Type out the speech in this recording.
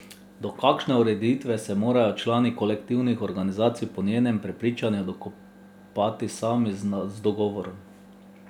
Do takšne ureditve se morajo člani kolektivnih organizacij po njenem prepričanju dokopati sami z dogovorom.